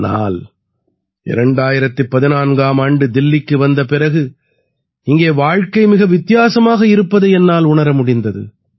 ஆனால் 2014ஆம் ஆண்டு தில்லிக்கு வந்த பிறகு இங்கே வாழ்க்கை மிக வித்தியாசமாக இருப்பதை என்னால் உணர முடிந்தது